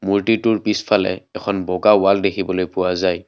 মূৰ্ত্তিটোৰ পিছফালে এখন বগা ৱাল দেখিবলৈ পোৱা যায়।